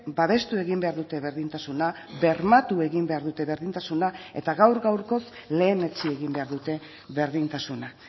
babestu egin behar dute berdintasuna bermatu egin behar dute berdintasuna eta gaur gaurkoz lehenetsi egin behar dute berdintasuna